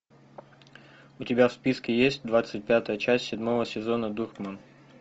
у тебя в списке есть двадцать пятая часть седьмого сезона дурман